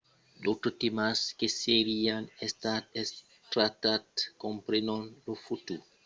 d'autres tèmas que serián estats tractats comprenon lo futur estat de jerusalèm qu'es sagrat per totas doas nacions e lo problèma de la val de jordan